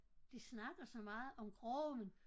De snakker så meget om grøften